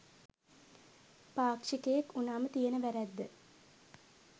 පාක්ෂිකයෙක් උනාම තියෙන වැරැද්ද.